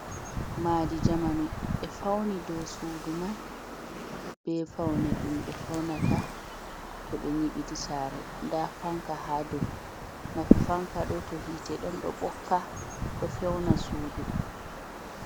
Maadi jamanu ɓe fauni dou sudu man ɓe faune ɗum ɓe faunata to ɓe nyiɓidi sare. Nda fanka ha dou. Nafu fanka ha dou. Nafu fanka mai to hite ɗon ɗo ɓokka ɗo feuna sudu.